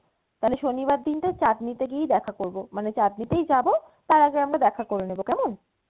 তাহলে শনিবার দিনটা চাঁদনী তে গিয়েই দেখা করবো মানে চাঁদনী তেই যাবো তার আগে আমরা দেখা করে নেবো কেমন?